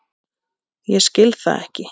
Ég skil það ekki.